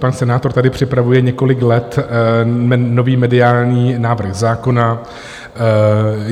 Pan senátor tady připravuje několik let nový mediální návrh zákona.